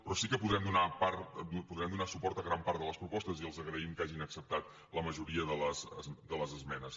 però sí que podrem donar suport a gran part de les propostes i els agraïm que hagin acceptat la majoria de les esmenes